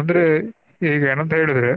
ಅಂದ್ರೆ ಈಗಾ ಏನಂತ ಹೇಳಿದ್ರೆ